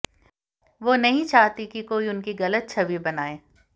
वो नहीं चाहती कि कोई उनकी गलत छवि बनाएं